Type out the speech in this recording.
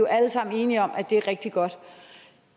alle sammen enige om er rigtig godt